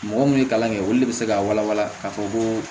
Mɔgɔ minnu ye kalan kɛ olu de bɛ se k'a walawala k'a fɔ ko